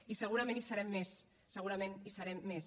i segurament hi serem més segurament hi serem més